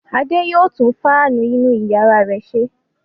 Adé yóò tún fáánù inú ìyàrá rẹ̀ ṣe.